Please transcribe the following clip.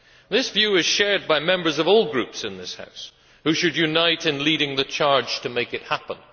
This view is shared by members of all groups in this House, who should unite in leading the charge to make it happen.